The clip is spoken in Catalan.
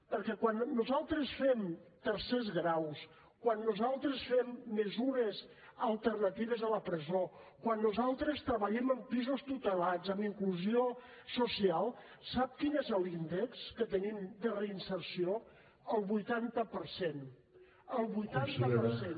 perquè quan nosaltres fem tercers graus quan nosaltres fem mesures alternatives a la presó quan nosaltres treballem amb pisos tutelats amb inclusió social sap quin és l’índex que tenim de reinserció el vuitanta per cent el vuitanta per cent